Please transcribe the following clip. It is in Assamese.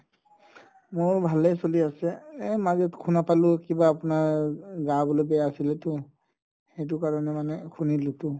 মোৰো ভালে চলি আছে এহ মাজত শুনা পালো আপুনাৰ গা বুলে বেয়া আছিলেতো সেইটো কাৰণে শুনিলোতো